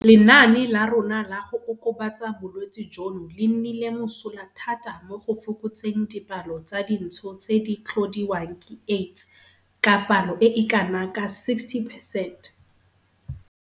Lenaane la rona la go okobatsa bolwetse jono le nnile mosola thata mo go fokotseng dipalo tsa dintsho tse di tlhodiwang ke AIDS ka palo e e kanaka 60 percent.